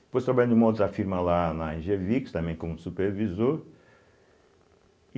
Depois trabalhei numa outra firma lá na Engevix, também como supervisor. e